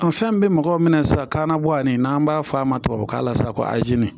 An fɛn bɛɛ mɔgɔ minɛ sisan kan na bɔ ani n'an b'a fɔ a ma tubabukan na sa ko